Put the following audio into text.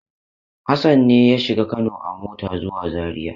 Hassan ne ya shiga Kano a mota zuwa Zariya?